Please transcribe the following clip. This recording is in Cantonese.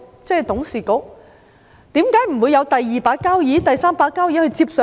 為何不會有"第二把交椅"、"第三把交椅"接手呢？